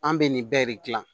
An bɛ nin bɛɛ de gilan